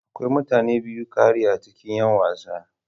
Akwai mutane biyu da ƙari a cikin yin wasa.